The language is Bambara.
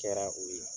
Kɛra o ye